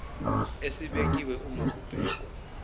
esibekiwe uma kubhekwa